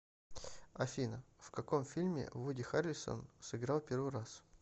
афина в каком фильме вуди харрельсон сыграл первый раз